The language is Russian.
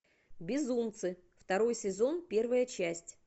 безумцы второй сезон первая часть